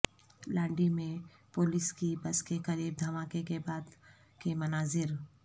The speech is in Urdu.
لانڈھی میں پولیس کی بس کے قریب دھماکے کے بعد کے مناظر